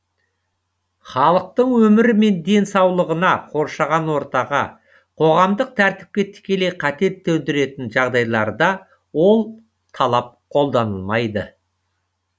халықтың өмірі мен денсаулығына қоршаған ортаға қоғамдық тәртіпке тікелей қатер төндіретін жағдайларда ол талап қолданылмайды